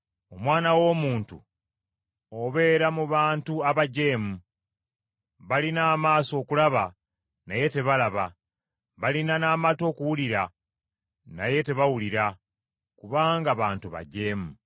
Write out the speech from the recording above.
“Omwana w’omuntu obeera mu bantu abajeemu. Balina amaaso okulaba, naye tebalaba, balina n’amatu okuwulira naye tebawulira, kubanga bantu bajeemu.